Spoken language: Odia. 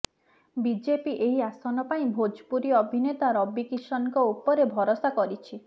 ବିଜେପି ଏହି ଆସନ ପାଇଁ ଭୋଜପୁରୀ ଅଭିନେତା ରବି କିଷନଙ୍କ ଉପରେ ଭରସା କରିଛି